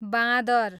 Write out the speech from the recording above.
बाँदर